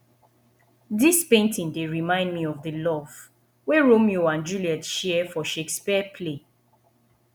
dis painting dey remind me of the love wey romeo and juliet share for shakespeare play